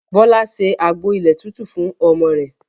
Bọlá ṣe àgbo ilẹ̀ tútù fún ọmọ rẹ̀